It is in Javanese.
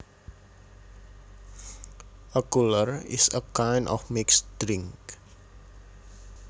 A cooler is a kind of mixed drink